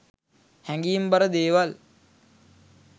හැඟීම් බර දේවල්